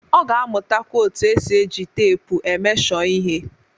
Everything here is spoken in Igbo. Ọ ga-amụtakwa otu esi eji teepu e mesho ihe.